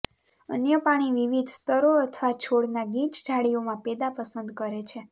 અન્ય પાણી વિવિધ સ્તરો અથવા છોડના ગીચ ઝાડીઓમાં પેદા પસંદ કરે છે